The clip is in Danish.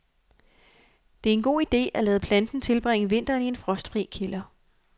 Det er en god idé, at lade planten tilbringe vinteren i en frostfri kælder.